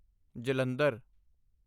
Jalandhar